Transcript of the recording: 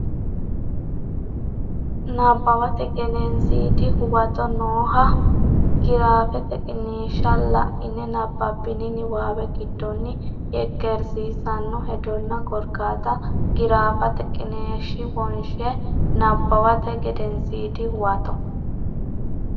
Nabbawate Gedensiidi Huwato nooha giraafete qiniishsha la ine nabbabbini niwaawe giddonni yekkeersiissanno hedonna korkaata giraafete qiniishshi wonshe Nabbawate Gedensiidi Huwato.